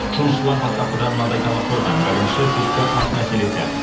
жұмысшылар бастапқыда мынандай талап қойған бірінші түскі ас мәселесі